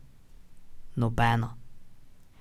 Nobena.